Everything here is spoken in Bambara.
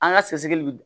An ka sɛgɛsɛgɛli bɛ